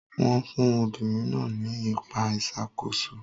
Wọ́n fún obìnrin náà ní ipa ìṣàkóso.